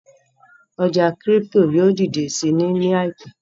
ọja crypto yóò didẹ sí ní láìpé.